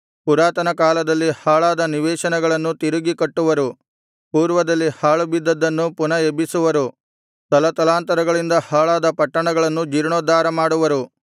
ಪುರಾತನಕಾಲದಲ್ಲಿ ಹಾಳಾದ ನಿವೇಶನಗಳನ್ನು ತಿರುಗಿ ಕಟ್ಟುವರು ಪೂರ್ವದಲ್ಲಿ ಹಾಳುಬಿದ್ದದ್ದನ್ನು ಪುನಃ ಎಬ್ಬಿಸುವರು ತಲತಲಾಂತರಗಳಿಂದ ಹಾಳಾದ ಪಟ್ಟಣಗಳನ್ನು ಜೀರ್ಣೋದ್ಧಾರ ಮಾಡುವರು